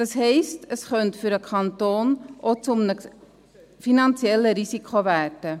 Das heisst, es könnte für den Kanton auch zu einem finanziellen Risiko werden.